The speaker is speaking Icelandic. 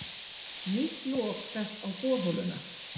Nýtt lok sett á borholuna